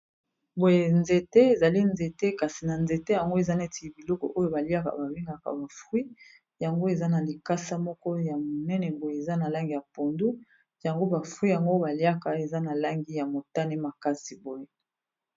Boye nzete, ezali nzete kasi na nzete yango eza neti biloko oyo baliaka babengaka bafruit yango eza na likasa moko ya monene boye eza na langi ya pondu yango bafruit yango baliaka eza na langi ya motane makasi boye.